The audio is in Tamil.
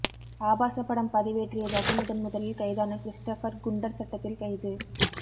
ஆபாசப் படம் பதிவேற்றியதாக முதன்முதலில் கைதான கிறிஸ்டோபர் குண்டர் சட்டத்தில் கைது